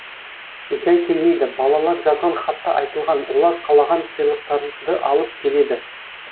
жай келмейді балалар жазған хатта айтылған олар қалаған сыйлықтарды алып келеді